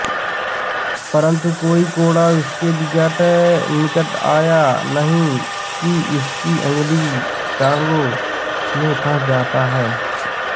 परंतु कोई कोड़ा इसके निकट आया नहीं कि इसकी अगली टाँगों में फँस जाता है